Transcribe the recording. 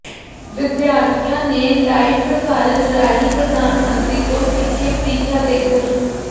ਵਿਦਿਆਰਥੀਆਂ ਨੇ ਲਾਈਵ ਪ੍ਰਸਾਰਨ ਰਾਹੀਂ ਪ੍ਰਧਾਨ ਮੰਤਰੀ ਤੋਂ ਸਿੱਖੇ ਪ੍ਰੀਖਿਆ ਦੇ ਗੁਰ